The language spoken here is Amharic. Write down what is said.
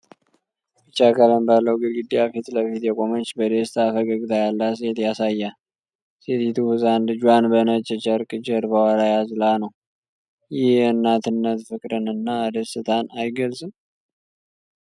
ቢጫ ቀለም ባለው ግድግዳ ፊት ለፊት የቆመች በደስታ ፈገግታ ያላት ሴት ያሳያል። ሴቲቱ ህፃን ልጇን በነጭ ጨርቅ ጀርባዋ ላይ አዝላ ነው፤ ይህ የእናትነት ፍቅርን እና ደስታን አይገልጽም?